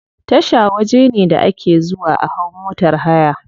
Tasha waje ne da ake zuwa a hau motar haya.